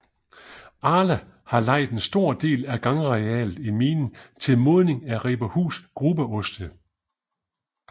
Arla har lejet en stor del af gangarealet i minen til modning af Riberhus grubeoste